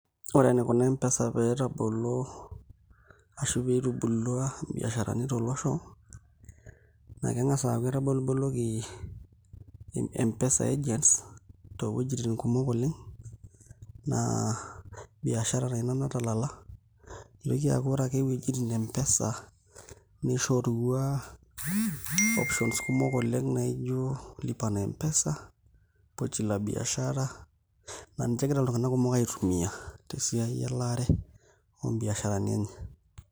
Ore enikuna M-pesa pee etabolo ashu pee itubulua mbiasharani tolosho naa keng'as aaku etaboliboloki M-pesa agents toowuejitin kumok oleng' naa biashara taa ina natalala nitoki aaku ore ake iwuejitin e M-pesa nishorua options kumok oleng' nijio lipa na m-pesa, pochi la biashara naa ninche egira iltung'anak kumok aitumia tesiai elaare oombiasharani enye.